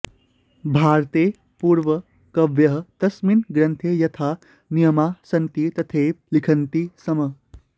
भारतेः पूर्वं कवयः तस्मिन् ग्रन्थे यथा नियमाः सन्ति तथैव लिखन्ति स्म